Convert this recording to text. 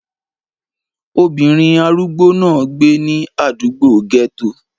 Obìnrin arúgbó náà gbé ní àdúgbò gẹ́tò